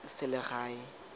selegae